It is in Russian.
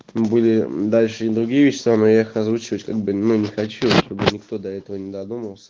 были дальше и другие вещества но я их озвучивать как бы ну не хочу чтобы никто до этого не додумался